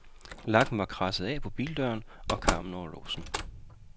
Lakken var kradset af på bildøren og karmen over låsen.